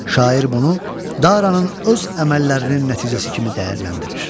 Şair bunu Daranın öz əməllərinin nəticəsi kimi dəyərləndirir.